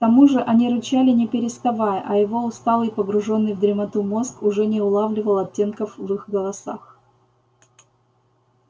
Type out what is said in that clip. к тому же они рычали не переставая а его усталый погружённый в дремоту мозг уже не улавливал оттенков в их голосах